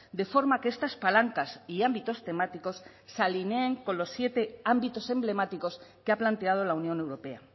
de forma que estas palancas y ámbitos temáticos se alineen con los siete ámbitos emblemáticos que ha planteado la unión europea